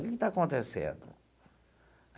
Que que está acontecendo?